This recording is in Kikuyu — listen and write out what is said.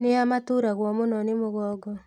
Nĩa maturagwo mũno nĩ mũgongo?